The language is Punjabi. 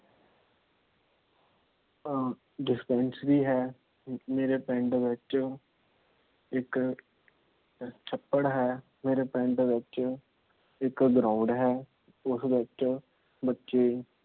Dispensary ਹੈ। ਮੇਰੇ ਪਿੰਡ ਵਿੱਚ ਇੱਕ ਛੱਪੜ ਹੈ। ਮੇਰੇ ਪਿੰਡ ਵਿੱਚ ਇਕ Ground ਹੈ। ਉਸ ਵਿੱਚ ਬੱਚੇ